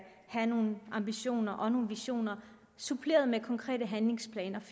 have nogen ambitioner og visioner suppleret med konkrete handlingsplaner